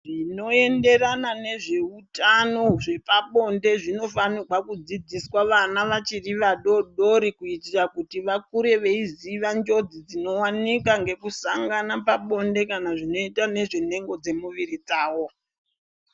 Zvinoenderana nezveutano zvepabonde zvinofanirwa kudzidziswa vana vachiri vadodori. Kuitira kuti vakure veiziya njodzi dzinowanikwa ngekusangana pabonde kana zvinoita ngezvenhengo dzemuviri dzavo.